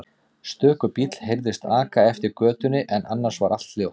Stöku bíll heyrðist aka eftir götunni en annars var allt hljótt.